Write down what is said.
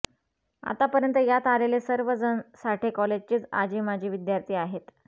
आतापर्यंत यात आलेले सर्व जण साठ्ये कॉलेजचेच आजी माजी विद्यार्थी आहेत